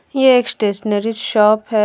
ये एक stationery shop है।